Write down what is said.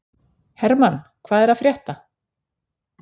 Hermann, hvað er að frétta?